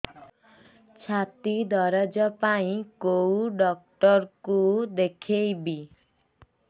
ଛାତି ଦରଜ ପାଇଁ କୋଉ ଡକ୍ଟର କୁ ଦେଖେଇବି